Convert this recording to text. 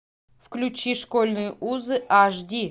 включи школьные узы аш ди